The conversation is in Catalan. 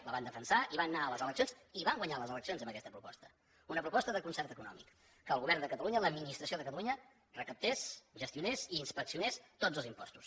la van defensar i van anar a les eleccions i van guanyar les eleccions amb aquesta proposta una proposta de concert econòmic que el govern de catalunya l’administració de catalunya recaptés gestionés i inspeccionés tots els impostos